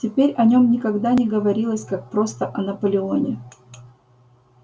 теперь о нем никогда не говорилось как просто о наполеоне